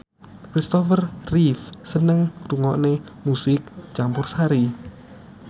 Christopher Reeve seneng ngrungokne musik campursari